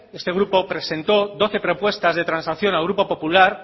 este grupo presentó doce propuestas de transacción al grupo popular